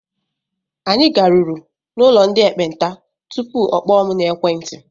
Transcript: Anyị garuru n'ụlọ ndị ekpenta tupu ọ kpọọ mụ n'ekwenti.